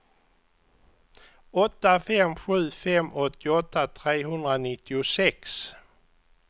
åtta fem sju fem åttioåtta trehundranittiosex